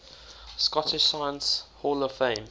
scottish science hall of fame